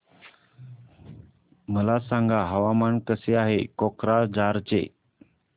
मला सांगा हवामान कसे आहे कोक्राझार चे